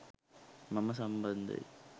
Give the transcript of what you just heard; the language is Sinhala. මම සම්බන්ධයි.